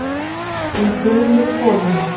Hún gleymir konunni.